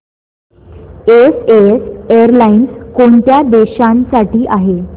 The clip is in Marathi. एसएएस एअरलाइन्स कोणत्या देशांसाठी आहे